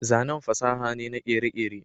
zanen fasaha ne na kere-kere